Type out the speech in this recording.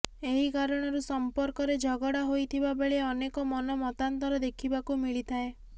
ଏହି କାରଣରୁ ସଂପର୍କରେ ଝଗଡ଼ା ହୋଇଥିବା ବେଳେ ଅନେକ ମନ ମତାନ୍ତର ଦେଖିବାକୁ ମିଳିଥାଏ